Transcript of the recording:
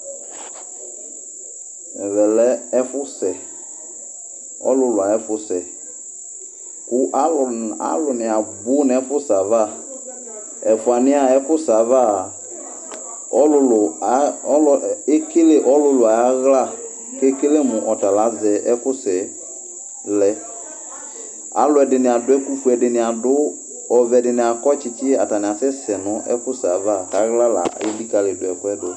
Ɛmɛ lɛ ɛfʋsɛ, ɔlʋlʋ ayʋ ɛfʋsɛ kʋ alʋna alʋnɩ abʋ nʋ ɛfʋsɛ ava Ɛfʋanɩ yɛ a, ɛfʋsɛ ava a, ɔlʋlʋ, alʋ ekele ɔlʋlʋ ayʋ aɣla kʋ ekele mʋ ɔta la azɛ ɛkʋsɛ yɛ lɛ Alʋɛdɩnɩ adʋ ɛkʋfue, alʋɛdɩnɩ adʋ ɔvɛ, ɛdɩnɩ akɔ tsɩtsɩ, atanɩ asɛsɛ nʋ ɛkʋsɛ yɛ ava kʋ aɣla la elikǝli ɛkʋ yɛ dʋ